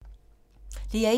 DR1